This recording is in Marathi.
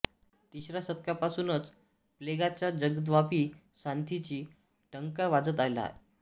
तिसऱ्या शतकापासूनच प्लेगाच्या जगद्व्यापी साथींचा डंका वाजत आला आहे